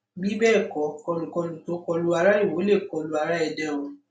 bí bẹẹ kọ kọlùkọlù tó kọ lu ara ìwọ lè kọ lu ara èdè o